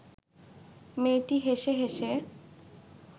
মেয়েটি হেসে হেসে